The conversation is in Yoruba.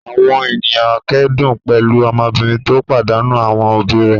Àwọn ènìyàn kẹ́dùn pẹ̀lú ọmọbìnrin tó pàdánù àwọn òbí rẹ̀.